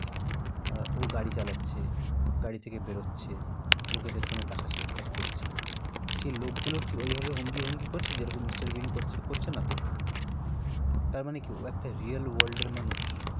হ্যাঁ ও গাড়ি চালাচ্ছে, গাড়ি থেকে বেরোচ্ছে, লোকেদের সঙ্গে দেখা সাক্ষাত করছে, সেই লোকগুলো কি ঐ ভাবে অঙ্গি ভঙ্গি করছে? যে রকম mister বিন করছে? করছে না তো? না, তার মনে কি ও একটা real world এর মানুষ।